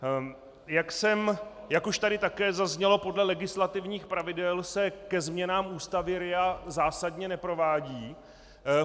Jak už tady také zaznělo, podle legislativních pravidel se ke změnám Ústavy RIA zásadně neprovádí.